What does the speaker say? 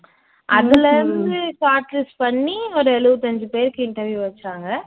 அதுல இருந்து பண்ணி ஒரு எழுபத்தஞ்சு பேருக்கு interview வச்சாங்க